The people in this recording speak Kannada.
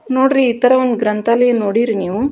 ನೋಡ್ರಿ ಇತರ ಒಂದು ಗ್ರಂಥಾಲಯ ನೋಡಿರೀ ನೀವು.